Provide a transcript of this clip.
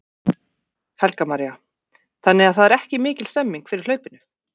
Helga María: Þannig að það er mikil stemning fyrir hlaupinu?